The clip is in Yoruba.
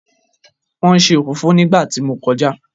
Wọ́n ń se òfófó nígbà tí mo kọjá.